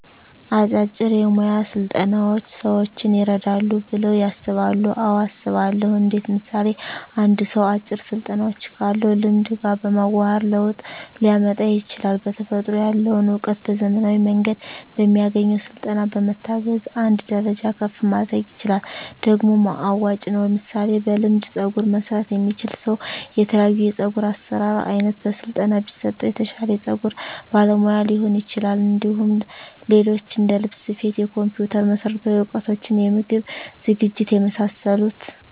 አጫጭር የሞያ ስልጠናዎች ሰዎችን ይረዳሉ ብለው ያስባሉ አዎ አስባለሁ እንዴት ምሳሌ አንድ ሰው አጭር ስልጠናዎችን ካለው ልምድ ጋር በማዋሀድ ለውጥ ሊያመጣ ይችላል በተፈጥሮ ያለውን እውቀት በዘመናዊ መንገድ በሚያገኘው ስልጠና በመታገዝ አንድ ደረጃ ከፍ ማድረግ ይችላል ደግሞም አዋጭ ነው ምሳሌ በልምድ ፀጉር መስራት የሚችል ሰው የተለያዮ የፀጉር አሰራር አይነት በስለጠና ቢሰጠው የተሻለ የፀጉር ባለሙያ ሊሆን ይችላል እንዲሁም ሌሎች እንደልብስ ስፌት የኮምፒተር መሠረታዊ እውቀቶች የምግብ ዝግጅት የመሳሰሉት